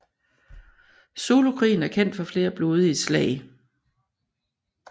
Zulukrigen er kendt for flere blodige slag